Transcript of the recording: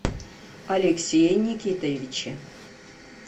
алексее никитовиче